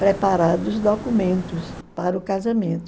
preparado os documentos para o casamento.